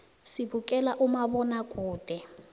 sibukela umabonakude